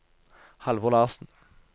Halvor Larsen